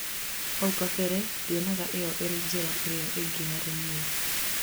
haũ kabere ndionaga ĩyo irĩ njira ĩrĩa ĩngĩ harĩ nĩe